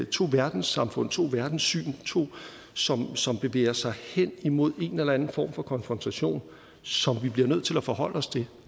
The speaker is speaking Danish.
to verdenssamfund to verdenssyn to som som bevæger sig hen imod en eller anden form for konfrontation som vi bliver nødt til at forholde os til